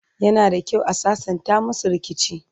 yana da kyau a sassanta masu rikici